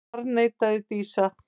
Þá harðneitaði Dísa.